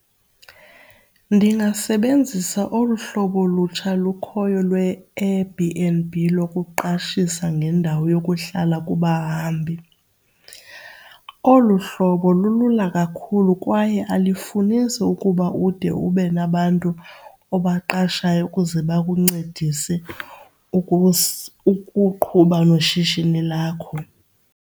Ndingasebenzisa olu hlobo lutsha lukhoyo lweAir-b_n_b lokuqashisa ngendawo yokuhlala kubahambi. Olu hlobo lulula kakhulu kwaye alifunisi ukuba ude ube nabantu obaqashayo ukuze bakuncedise ukuqhuba noshishini lakho.